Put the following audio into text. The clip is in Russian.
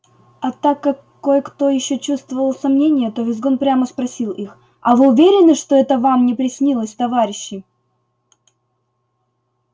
а так как кое-кто ещё чувствовал сомнение то визгун прямо спросил их а вы уверены что это вам не приснилось товарищи